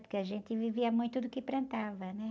Porque a gente vivia muito do que plantava, né?